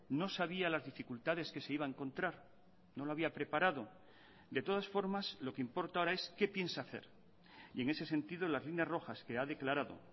no sabía las dificultades que se iba a encontrar no lo había preparado de todas formas lo que importa ahora es qué piensa hacer y en ese sentido las líneas rojas que ha declarado